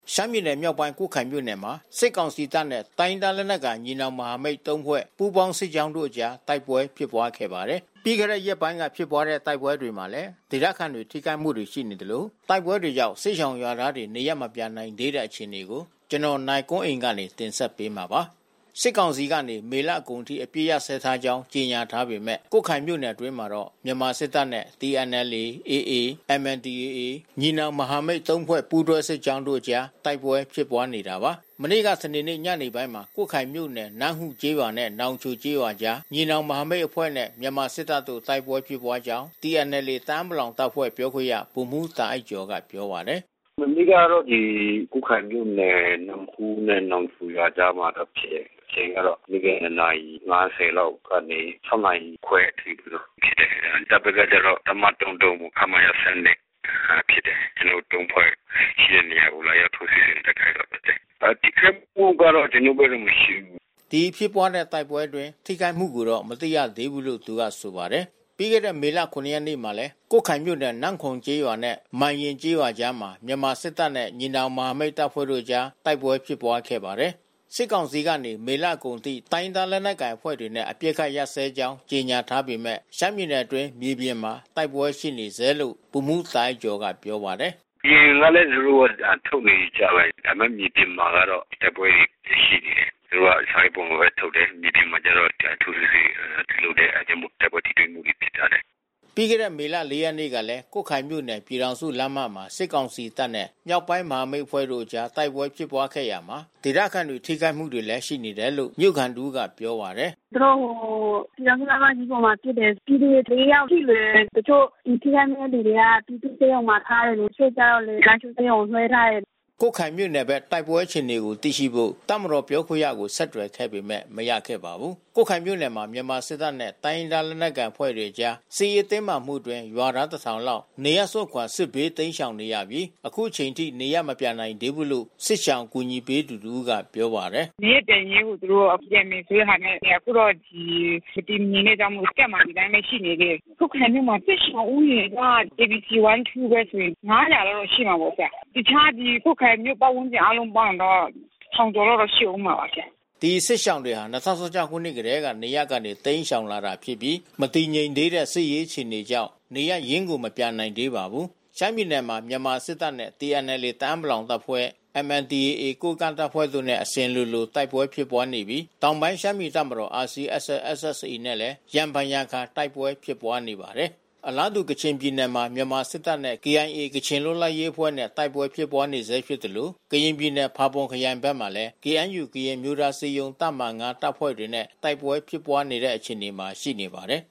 ရှမ်းပြည်နယ်မြောက်ပိုင်း ကွတ်ခိုင်မြို့နယ်မှာ စစ်ကောင်စီတပ်နဲ့ တိုင်းရင်းသားလက်နက်ကိုင် ညီနောင်မဟာမိတ်သုံးဖွဲ့ ပူးပေါင်းစစ်ကြောင်းတို့အကြား တိုက်ပွဲဖြစ်ပွားခဲ့ပါတယ်။ ပြီးခဲ့တဲ့ရက်ပိုင်းတွေက ဖြစ်ပွားတဲ့ တိုက်ပွဲတွေမှာလည်း ဒေသခံတွေ ထိခိုက်မှုရှိနေသလို တိုက်ပွဲကြောင့် စစ်ရှောင်ရွာသားတွေ နေရပ်မပြန်နိုင်သေးတဲ့ အခြေအနေကို နိုင်ကွန်းအိန် တင်ပြပေးထားပါတယ်။ စစ်ကောင်စီကနေ မေလကုန်အထိ အပစ်အခတ် ရပ်စဲထားကြောင်း ကြေညာထားပေမယ့် ကွတ်ခိုင်မြို့နယ်အတွင်းမှာတော့ မြန်မာစစ်တပ်နဲ့ TNLA၊ AA၊ MNDAA ညီနောင်မဟာမိတ်သုံးဖွဲ့ ပူးတွဲစစ်ကြောင်းတို့အကြား တိုက်ပွဲဖြစ်ပွားနေတာပါ။ မနေ့က စနေနေ့ညနေပိုင်းမှာ ကွတ်ခိုင်မြို့နယ်၊ နမ့်ဟူးကျေးရွာနဲ့ နောင်ချိုကျေးရွာအကြား ညီနောင်မဟာမိတ်အဖွဲ့နဲ့ မြန်မာစစ်တပ်တို့ တိုက်ပွဲဖြစ်ပွားကြောင်း TNLA တအာင်းပလောင်တပ်ဖွဲ့ ပြောခွင့်ရ ဗိုလ်မှူးတာအိုက်ကျော်က ပြောပါတယ်။ “မနေ့ကတော့ ဒီ ကွတ်ခိုင်မြို့နယ် နမ့်ဟူးနဲ့ နောင်ချိုရွာကြားမှာ ဖြစ်တယ်။ အချိန်ကတော့ နေ့လယ် ၂ နာရီ ၅၀ လောက်ကနေ ၆ နာရီခွဲအထိ ဖြစ်တယ်။ တပ်ဘက်ကတော့ တပ်မ ၃၃ ခမရ ၁၂ ဖြစ်တယ်။ ကျနော်တို့ ၃ ဖွဲ့ရှိတဲ့နေရာကို လာရောက်ထိုးစစ်ဆင် တိုက်ခိုက်တော့ ဖြစ်တယ်။ ထိခိုက်မှုကတော့ ကျနော်တို့ဘက်ကတော့ မရှိဘူး။” ဒီဖြစ်ပွားတဲ့ တိုက်ပွဲအတွင်း ထိခိုက်မှုကိုတော့ မသိရသေးဘူးလို့ သူကဆိုပါတယ်။ ပြီးခဲ့တဲ့ မေလ ၇ ရက်နေ့မှာလည်း ကွတ်ခိုင်မြို့နယ် နမ့်ခိုမ်ကျေးရွာနဲ့ မန်ယဉ်ကျေးရွာအကြားမှာ မြန်မာစစ်တပ်နဲ့ ညီနောင်မဟာမိတ် တပ်တို့အကြား တိုက်ပွဲဖြစ်ပွားခဲ့ပါတယ်။ စစ်ကောင်စီကနေ မေလကုန်အထိ တိုင်းရင်းသား လက်နက်ကိုင်အဖွဲ့တွေနဲ့ အပစ်အခတ် ရပ်စဲထားကြောင်း ကြေညာထားပေမယ့် ရှမ်းပြည်နယ်အတွင်း မြေပြင်မှာ တိုက်ပွဲရှိနေဆဲလို့ ဗိုလ်မှူးတာအိုက်ကျော်က ပြောပါတယ်။ “အရင်ကလည်း သူတို့ စာထုတ်နေကြပဲ။ ဒါပေမယ့် မြေပြင်မှာကတော့ တိုက်ပွဲတွေ ဖြစ်ရှိနေတယ်။ သူတို့က စာရွက်ပေါ်မှာပဲ ထုတ်တယ်။ မြေပြင်မှာကျတော့ ထိုးစစ်တွေပြုလုပ်တယ်။ အဲဒါကြောင့်မို့ တိုက်ပွဲထိတွေ့မှုတွေ ဖြစ်သွားတယ်။” ပြီးခဲ့တဲ့ မေလ ၄ ရက်နေ့မှာလည်း ကွတ်ခိုင်မြို့နယ် ပြည်ထောင်စုလမ်းမမှာ စစ်ကောင်စီတပ်နဲ့ မြောက်ပိုင်းမဟာမိတ်အဖွဲ့တို့အကြား တိုက်ပွဲဖြစ်ပွားခဲ့ရာမှာ ဒေသခံတွေ ထိခိုက်မှုတွေလည်း ရှိနေတယ်လို့ မြို့ခံတဦးက ပြောပါတယ်။ “သူတို့ ဟို ပြည်ထောင်စုလမ်းမကြီးပေါ်မှာ ပစ်တယ်။ ပြည်သူတွေ ၄ ယောက် ထိတယ်။ တချို့ထိခိုက်သူတွေက ပြည်သူ့ဆေးရုံမှာထားတယ်။ တချို့ကျတော့လည်း လားရှိုးဆေးရုံကို လွှဲထားတယ်။” ကွတ်ခိုင်မြို့နယ်ဘက် တိုက်ပွဲအခြေအနေကို သိရှိဖို့ တပ်မတော်ပြောခွင့်ရကို ဆက်သွယ်ခဲ့ပေမယ့် မရခဲ့ပါဘူး။ ကွတ်ခိုင်မြို့နယ်မှာ မြန်မာစစ်တပ်နဲ့ တိုင်းရင်းသား လက်နက်ကိုင်အဖွဲ့တွေအကြား စစ်ရေးတင်းမာမှုအတွင်း ရွာသား ၁,၀၀၀ လောက် နေရပ်ကို စွန့်ခွာ စစ်ဘေးတိမ်းရှောင်နေရပြီး အခုထိ နေရပ်မပြန်နိုင်သေးဘူးလို့ စစ်ရှောင်အကူအညီပေးသူတဦးက ပြောပါတယ်။ “နေရပ်ပြန်ရေးကို သူတို့က ပြန်မယ်ဆိုတဲ့ဟာနဲ့ အခုတော့ မတည်မငြိမ်တဲ့အတွက်ကြောင့်မို့ Camp မှာ ဒီအတိုင်းပဲ ရှိနေသေးတယ်။ ကွတ်ခိုင်မြို့မှာ စစ်ရှောင်ဦးရေက KBC1-2 ပဲဆို ၅၀၀ လောက်တော့ ရှိမှာပေါ့။ တခြား ဒီ ကွတ်ခိုင်မြို့ပတ်ဝန်းကျင် အားလုံးပေါင်းရင်တော့ ၁,၀၀၀ ကျော်လောက်တော့ ရှိဦးမှာ။” ဒီစစ်ရှောင်တွေဟာ ၂၀၁၆ ခုနှစ်ကတည်းက နေရပ်ကနေ တိမ်းရှောင်လာတာဖြစ်ပြီး မတည်ငြိမ်သေးတဲ့ စစ်ရေးအခြေအနေကြောင့် နေရပ်ရင်းကို မပြန်နိုင်သေးပါဘူး။ ရှမ်းပြည်နယ်မှာ မြန်မာစစ်တပ်နဲ့ TNLA တအာင်းပလောင်အဖွဲ့၊ MNDAA ကိုးကန့်တပ်ဖွဲ့တို့နဲ့ အစဉ်လို တိုက်ပွဲဖြစ်ပွားနေပြီး တောင်ပိုင်းရှမ်းပြည်တပ်မတော် RCSS/SSA နဲ့လည်း ရံဖန်ရံခါ တိုက်ပွဲဖြစ်ပွားနေပါတယ်။ အလားတူ ကချင်ပြည်နယ်မှာ မြန်မာစစ်တပ်နဲ့ KIA ကချင်လွတ်လပ်ရေးအဖွဲ့နဲ့ တိုက်ပွဲဖြစ်ပွားနေဆဲဖြစ်သလို ကရင်ပြည်နယ် ဖာပွန်ခရိုင်ဘက်မှာလည်း KNU ကရင်အမျိုးသားအစည်းအရုံး တပ်မဟာ ၅ တပ်ဖွဲ့တွေနဲ့ တိုက်ပွဲဖြစ်ပွားနေတဲ့ အခြေအနေမှာ ရှိပါတယ်